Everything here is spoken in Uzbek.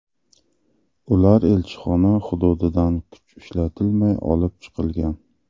Ular elchixona hududidan kuch ishlatilmay olib chiqilgan.